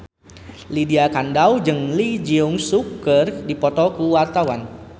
Lydia Kandou jeung Lee Jeong Suk keur dipoto ku wartawan